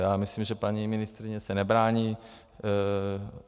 Já myslím, že paní ministryně se nebrání.